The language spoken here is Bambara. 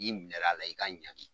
N'i minɛr'a la, i ka ɲagen